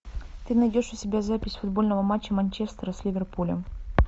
ты найдешь у себя запись футбольного матча манчестера с ливерпулем